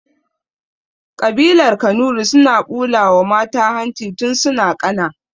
Ƙabilar kanuri suna ɓulawa mata hanci tun suna ƙana